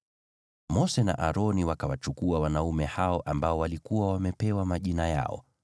Mose na Aroni wakawachukua wanaume hao waliokuwa wamepewa majina yao,